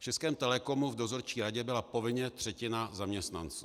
V Českém Telecomu v dozorčí radě byla povinně třetina zaměstnanců.